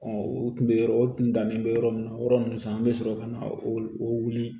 u tun bɛ yɔrɔ o kun dalen bɛ yɔrɔ min na yɔrɔ ninnu sa an bɛ sɔrɔ ka na o wuli